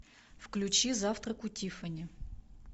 включи завтрак у тиффани